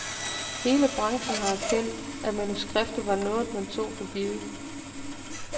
Hele branchen har erkendt, at manuskriptet var noget, man tog for givet.